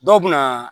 Dɔw bɛ na